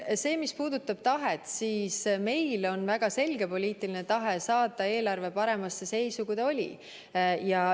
Mis puudutab tahet, siis meil on väga selge poliitiline tahe saada eelarve paremasse seisu, kui ta oli.